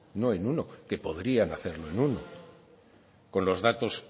no en uno que podarían hacerlo en uno con los datos